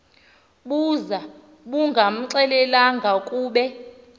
buza bungamxelelanga kube